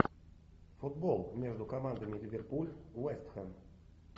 футбол между командами ливерпуль вест хэм